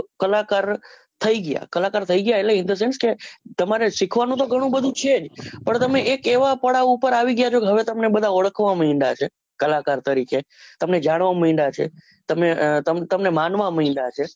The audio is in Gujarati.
કલાકાર થઇ ગયા કલાકાર થઇ ગયા એટલે in the sense કે તમારે શીખવાનું તો ગણું બધું છે જ પર તમે એક એવા પડાવ પર આવી ગયા છો કે હવે તમને ઓળખવા મડ્યા છે કલાકાર તરીકે તમને જાણવા મડ્યા છે તમે અ તમને માનવા મડ્યા છે